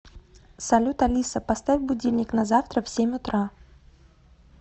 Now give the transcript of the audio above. салют алиса поставь будильник на завтра в семь утра